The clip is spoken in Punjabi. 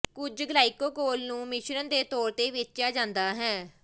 ਕੁੱਝ ਗਲਾਈਕੋਲ ਨੂੰ ਮਿਸ਼ਰਣ ਦੇ ਤੌਰ ਤੇ ਵੇਚਿਆ ਜਾਂਦਾ ਹੈ